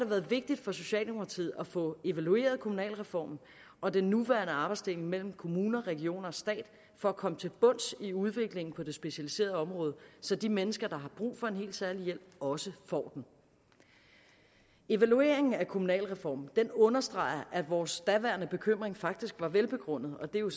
været vigtigt for socialdemokratiet at få evalueret kommunalreformen og den nuværende arbejdsdeling mellem kommuner regioner og stat for at komme til bunds i udviklingen på det specialiserede område så de mennesker der har brug for en helt særlig hjælp også får den evalueringen af kommunalreformen understreger at vores daværende bekymring faktisk var velbegrundet og det er jo